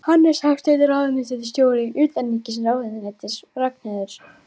Hannes Hafstein, ráðuneytisstjóri utanríkisráðuneytis og Ragnheiður